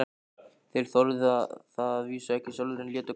Þeir þorðu það að vísu ekki sjálfir, en létu krakkana.